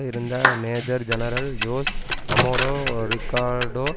இருந்த major general Jose Amado Ricardo